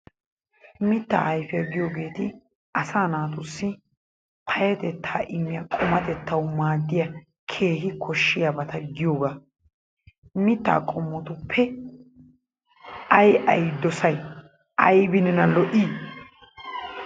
Mitta ayife giyogeeti asaa naatussi payyatettaa immiya qumatettawu maaddiya keehi koshshiyabata giyogee mittaa qommotuppe ay ay dosay? Aybi nena lo'i?